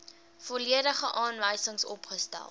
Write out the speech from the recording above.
volledige aanwysings opgestel